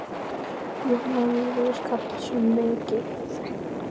Jón Júlíus Karlsson: Mikið?